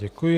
Děkuji.